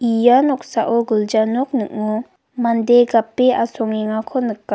ia noksao gilja nok ning·o mande gape asongengako nika.